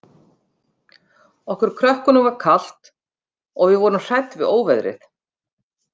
Okkur krökkunum var kalt, og við vorum hrædd við óveðrið.